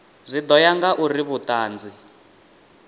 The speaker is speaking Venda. zwi ḓo ya ngauri vhuṱanzi